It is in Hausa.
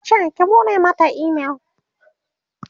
yace "ku buɗe Mata email!"